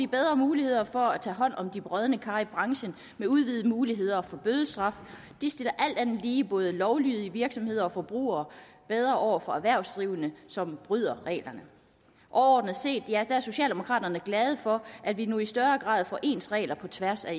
bedre muligheder for at tage hånd om de brodne kar i branchen med udvidede muligheder for bødestraf det stiller alt andet lige både lovlydige virksomheder og forbrugere bedre over for erhvervsdrivende som bryder reglerne overordnet set er socialdemokraterne glade for at vi nu i større grad får ens regler på tværs af